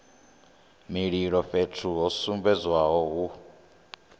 mililo fhethu ho sumbedzwaho hu